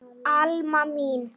Alma mín.